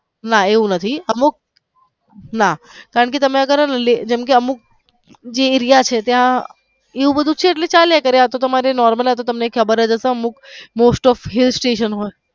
ના એવું નથી અમુક ના કારણકે અમુક જે રયા છે ત્યાં એવું બધું છે એટલે હાલ્યા કરે આ તો તમારે normal આ તો તમને ખબર જ હશે અમુક most of hill station